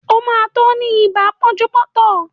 O ma tó ní ibà pánjúpọ́tàn